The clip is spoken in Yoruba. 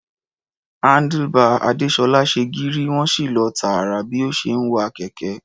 Handlebar Adésọ́lá ṣe gírí, wọ́n sì lọ tààrà bí ó ṣe ń wa kẹ̀kẹ́.